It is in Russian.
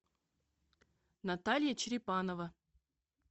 наталья черепанова